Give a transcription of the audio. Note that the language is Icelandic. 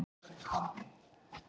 Jói læddist að kettlingunum.